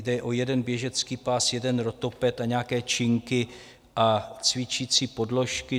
Jde o jeden běžecký pás, jeden rotoped a nějaké činky a cvičící podložky.